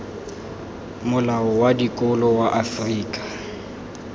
molao wa dikolo wa afrika